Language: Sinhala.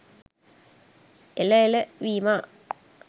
එල එල විමා